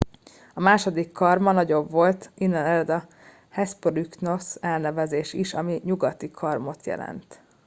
"a második karma nagyobb volt innen ered a hespronychus elnevezés is ami "nyugati karmot" jelent.